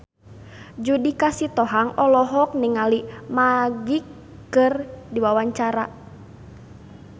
Judika Sitohang olohok ningali Magic keur diwawancara